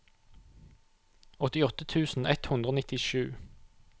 åttiåtte tusen ett hundre og nittisju